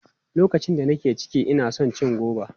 Lokacin da nake ciki, ina son cin goba.